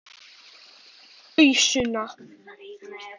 Réttu mér ausuna!